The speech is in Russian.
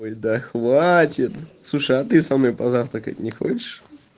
ой да хватит слушай а ты со мной позавтракать не хочешь